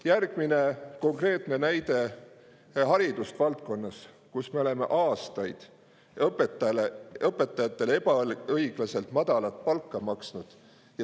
Järgmine konkreetne näide on haridusvaldkonnast, kus me oleme aastaid õpetajatele ebaõiglaselt madalat palka maksnud.